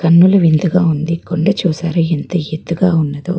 కన్నుల విందుగా ఉంది కొండ చూసారా ఎంత ఎత్తుగా ఉన్నదో.